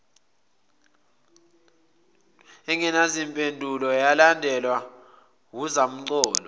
engenazimpendulo yalandelwa wuzamcolo